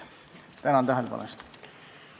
Tänan tähelepanu eest!